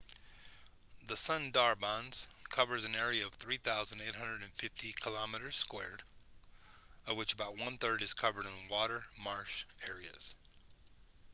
the sundarbans cover an area of 3,850 km² of which about one-third is covered in water/marsh areas